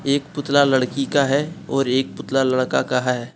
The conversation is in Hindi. एक पुतला लड़की का है और एक पुतला लड़का का है।